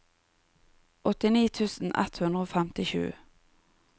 åttini tusen ett hundre og femtisju